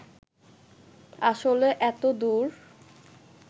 আসলে এত দূর